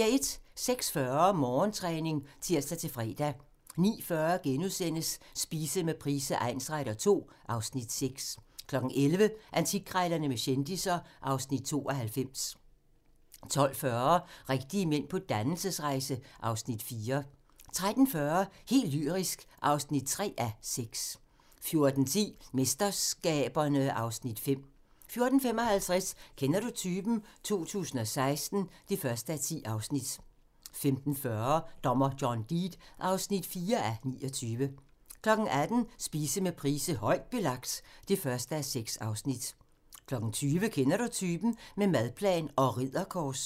06:40: Morgentræning (tir-fre) 09:40: Spise med Price egnsretter II (Afs. 6)* 11:00: Antikkrejlerne med kendisser (Afs. 92) 12:40: Rigtige mænd på dannelsesrejse (Afs. 4) 13:40: Helt lyrisk (3:6) 14:10: MesterSkaberne (Afs. 5) 14:55: Kender du typen? 2016 (1:10) 15:40: Dommer John Deed (4:29) 18:00: Spise med Price: "Højt belagt" (1:6) 20:00: Kender du typen? - med madplan og ridderkors